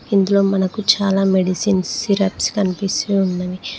ఇందులో మనకు చాలా మెడిసిన్స్ సిరప్స్ కనిపిస్తూ ఉన్నవి.